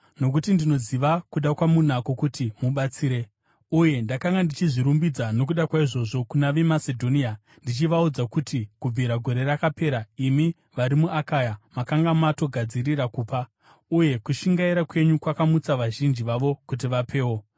Nokuti ndinoziva kuda kwamunako kuti mubatsire, uye ndakanga ndichizvirumbidza nokuda kwaizvozvo kuna veMasedhonia, ndichivaudza kuti kubvira gore rakapera, imi vari muAkaya makanga matogadzirira kupa; uye kushingaira kwenyu kwakamutsa vazhinji vavo kuti vapewo.